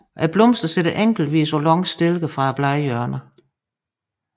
Blomsterne sidder enkeltvis på lange stilke fra bladhjørnerne